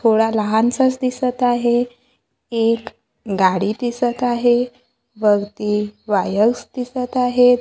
थोडा लहानसाच दिसतं आहे एक गाडी दिसतं आहे वरती वायर्स दिसतं आहेत.